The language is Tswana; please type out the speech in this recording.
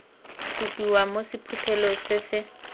supiwa mo sephuthelong se se